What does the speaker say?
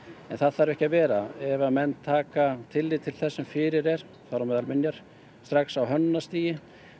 það þarf ekki að vera ef menn taka tillit til þess sem fyrir er þar á meðal minja strax á hönnunarstigi